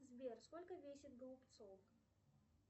сбер сколько весит голубцов